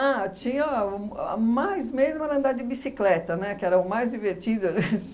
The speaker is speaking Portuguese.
Ah, tinha a mais mesmo a andar de bicicleta, né, que era o mais divertido